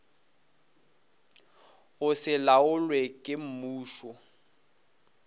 go se laolwe ke mmušo